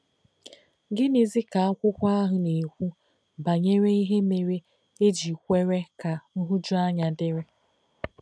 Gịnịzi ka akwụkwọ ahụ na-ekwu banyere ihe mere e ji kwere ka nhụjuanya dịrị?